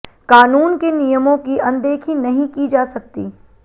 कानून के नियमों की अनदेखी नहीं की जा सकती